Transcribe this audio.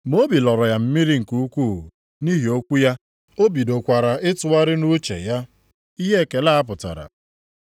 Ma obi lọrọ ya mmiri nke ukwuu nʼihi okwu ya. O bidokwara ịtụgharị nʼuche ya ihe ekele a pụtara.